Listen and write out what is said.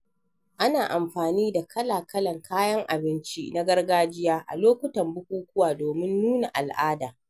Ana amfani da kala-kalan kayan abinci na gargajiya a lokutan bukukuwa domin nuna al'ada.